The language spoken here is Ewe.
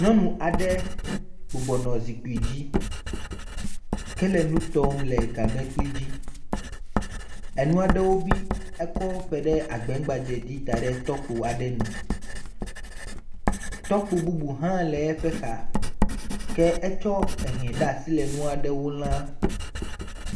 Nyɔnu aɖe bɔbɔnɔ zikpui dzi kele nu tɔm le gamlekpui dzi, enua ɖewo bi, ekɔwo ƒo ɖe agbɛgbadze dzi da ɖe tɔkpo aɖe nu. Tɔkpo bubu hã le eƒe xa, ke etsɔ he de asi le nua ɖewo lã.